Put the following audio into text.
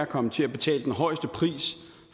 komme til at betale den højeste pris